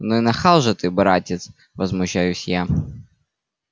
ну и нахал же ты братец возмущаюсь я